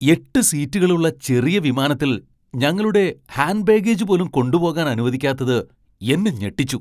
എട്ട് സീറ്റുകളുള്ള ചെറിയ വിമാനത്തിൽ ഞങ്ങളുടെ ഹാൻഡ് ബാഗേജ് പോലും കൊണ്ടുപോകാൻ അനുവദിക്കാത്തത് എന്നെ ഞെട്ടിച്ചു .